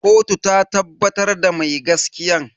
Kotu ta tabbatar da mai gaskiyan.